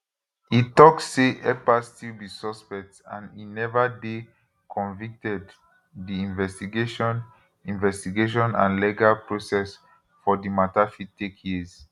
e tok say ekpa still be suspect and e never dey convicted di investigation investigation and legal process for di matter fit take years